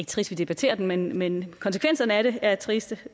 trist vi debatterer den men konsekvenserne af det er triste